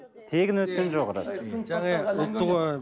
тегін өткен жоқ рас